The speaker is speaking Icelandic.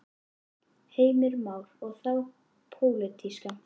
Heimir Már: Og þá pólitíska?